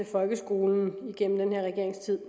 folkeskolen igennem den her regerings tid